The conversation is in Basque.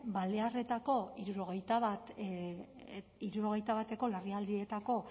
balearretako hirurogeita bateko larrialdietako